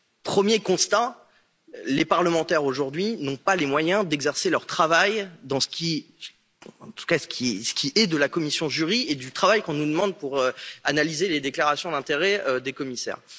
Premier constat les parlementaires aujourd'hui n'ont pas les moyens d'exercer leur travail, en tout cas pour ce qui est de la commission JURI et du travail qu'on nous demande pour analyser les déclarations d'intérêts des commissaires.